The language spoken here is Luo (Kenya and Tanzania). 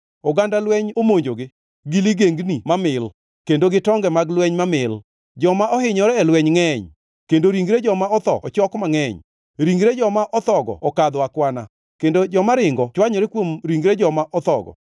Oganda lweny omonjogi, gi ligengni mamil, kendo gi tonge mag lweny mamil! Joma ohinyore e lweny ngʼeny, kendo ringre joma otho ochok mangʼeny, ringre joma othogo okadho akwana, kendo joma ringo chwanyore kuom ringre joma othogo.